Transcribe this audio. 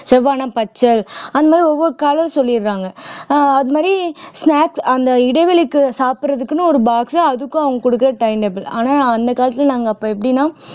செவ்வானா பச்சை அந்த மாதிரி ஒவ்வொரு color சொல்லிடுறாங்க ஆஹ் அது மாதிரி snacks அந்த இடைவெளிக்கு சாப்பிடுறதுக்குன்னு ஒரு box உ அதுக்கும் அவங்க கொடுக்கிற time table ஆனால் அந்த காலத்துல நாங்க அப்ப எப்படின்னா